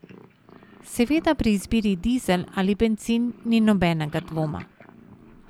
Seveda pri izbiri dizel ali bencin ni nobenega dvoma.